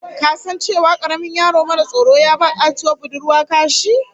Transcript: Ka san cewa karamin yaro maras tsoro ya ba katuwar budurwa kashi?